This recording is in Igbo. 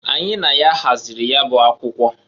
Anyị na ya hazịrị ya bụ akwụkwọ.